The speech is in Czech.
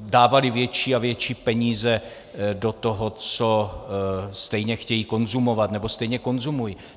dávali větší a větší peníze do toho, co stejně chtějí konzumovat nebo stejně konzumují.